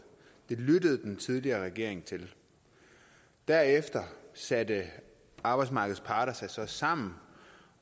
det lyttede den tidligere regering til derefter satte arbejdsmarkedets parter sig så sammen